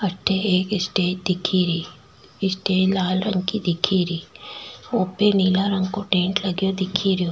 अठ एक स्टेज दिख री स्टेज लाल रंग को दिख री उप नील रंग को टेंट लगो दिख रो।